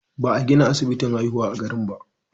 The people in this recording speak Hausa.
Ba a gina asibitin haihuwa a garin ba.